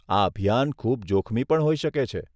આ અભિયાન ખૂબ જોખમી પણ હોઈ શકે છે.